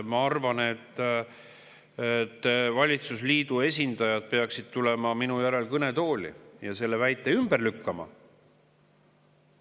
Ma arvan, et valitsusliidu esindajad peaksid tulema minu järel kõnetooli ja selle väite ümber lükkama.